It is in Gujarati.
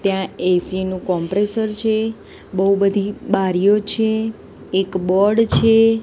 ત્યાં એ_સી નુ કોમ્પ્રેસર છે બૌ બધી બારીઓ છે એક બોર્ડ છે.